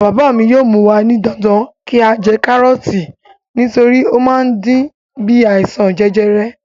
Bàbá mi yóò mú wa ní dandan kí á jẹ kárọ̀ọ̀tì nítorí ó má ń dín bí àìsàn jẹjẹrẹ.